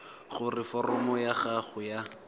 gore foromo ya gago ya